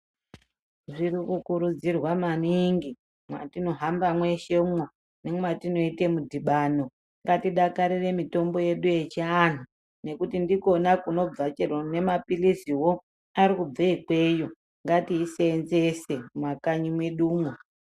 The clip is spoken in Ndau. Zviri kukurudzirwa maningi mwetinohamba mweshemwo nemwatinoita mudhibhano. Ngatidakarire mutombo yedu yechiantu ngekuti ndikona kunobva chero mapiliziwo arikubve ikweyo. Ngatisenzese mumakanyi mwedumwo.